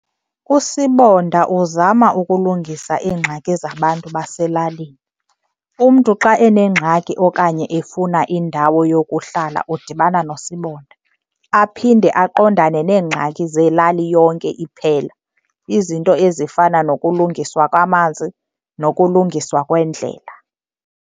USibonda uzama ukulungisa iingxaki zabantu baselalini. Umntu xa enengxaki okanye efuna indawo yokuhlala udibana noSibonda. Aphinde aqondane neengxaki zelali yonke iphela, izinto ezifana nokulungiswa kwamanzi nokulungiswa kweendlela.